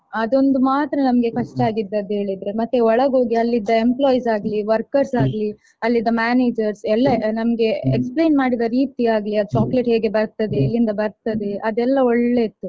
ಅದೊಂದು ಮಾತ್ರ ನಮ್ಗೆ ಕಷ್ಟಾಗಿದದ್ದು ಹೇಳಿದ್ರೆ. ಮತ್ತೆ ಒಳಗೋಗಿ ಅಲ್ಲಿದ್ದ employees ಆಗ್ಲೀ, workers ಆಗ್ಲೀ, ಅಲ್ಲಿದ್ದ mamnagers ಎಲ್ಲ ನಮ್ಗೆ explain ಮಾಡಿದ ರೀತಿಯಾಗ್ಲಿ, ಆ chocolate ಹೇಗೆ ಬರ್ತದೆ, ಎಲ್ಲಿಂದ ಬರ್ತದೆ ಅದೇಲ್ಲ ಒಳ್ಳೇ ಇತ್ತು.